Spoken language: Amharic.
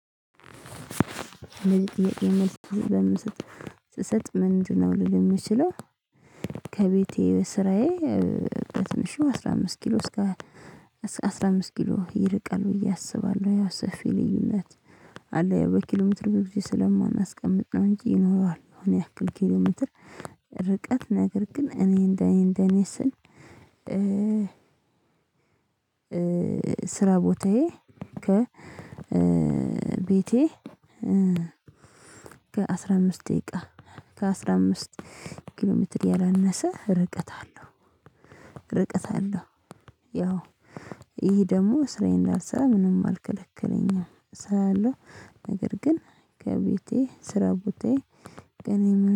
ስሰጥ ምንድነው? ልል የምችለው ከቤቴ ስራዬ በትንሹ አስራ አምስት ኪሎ እስከ አስራ አምስት ኪሎ ይርቃል ብዬ አስባለሁ ያው ሰፊ ልዩነት አለ። ያው በኪሎሜትር ብዬ ስለማናስቀምጥ ነው እንጂ ይኖረዋል አሁን ያክል ኪሎ ሜትር። ርቀት ነገር ግን እኔ እንደኔ እንደኔ ስል ስራ ቦታዬ ከ ቤቴ ከአሥራ አምስት ደቂቃ ከአሥራ አምስት ኪሎሜትር ያላነሰ ርቀት አለው ርቀት አለው። ያው ይሄ ደግሞ ስራዬን እንዳልሰራ ምንም አልከለከለኝም እሰራለሁ። ነገር ግን ከቤቴ ስራ ቦታዬ ቀኔ